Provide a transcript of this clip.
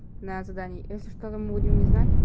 на задании если что-то мы будем не знать